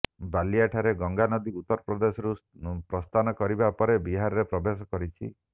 ବଲିଆଠାରେ ଗଙ୍ଗାନଦୀ ଉତ୍ତରପ୍ରଦେଶରୁ ପ୍ରସ୍ଥାନ କରିବା ପରେ ବିହାରରେ ପ୍ରବେଶ କରିଛି